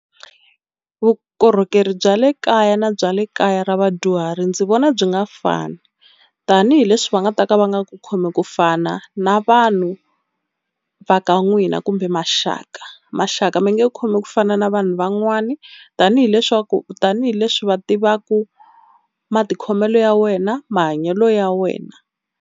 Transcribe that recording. Vukorhokeri bya le kaya na bya le kaya ra vadyuhari ndzi vona byi nga fani tanihileswi va nga ta ka va nga ku khomi kufana na vanhu va ka ya n'wina kumbe maxaka. Maxaka mi nge ku khomi ku fana na vanhu van'wani tanihi leswaku tanihileswi va tivaku matikhomelo ya wena mahanyelo ya wena.